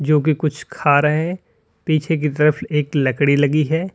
जो कि कुछ खा रहे हैं पीछे की तरफ एक लकड़ी लगी है।